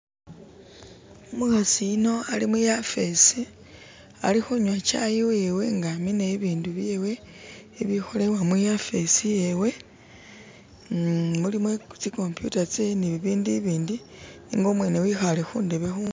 umukhasi yuno ali muyafesi alikhunywa chai wewe nga amina ibindu byewe ibikholebwa muyafesi yewe mmh mulimu tsikompyuta tsewe ni bibindu ibindi nenga umwene wekhale khundebe khu